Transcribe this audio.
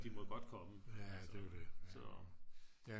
de må godt komme så